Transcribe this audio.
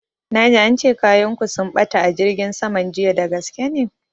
Na ji ance kayan ku sun ɓata a jirgin saman jiya, dagaske ne?